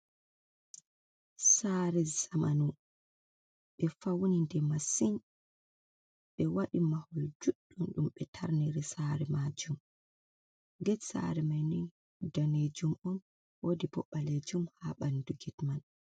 Saare zamanu, ɓe fawni nde masin, ɓe waɗi mahol juuɗɗum ɗum ɓe taarniri saare maajum, get saare mai ni daneejum on, woodi bo ɓaleejum ha ɓandu get man.